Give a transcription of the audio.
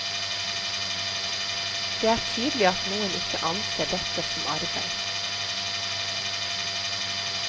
Det er tydelig at noen ikke anser dette som arbeid.